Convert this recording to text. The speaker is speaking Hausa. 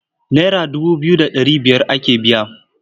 Naira dubu biyu da ɗari biyar ake biya.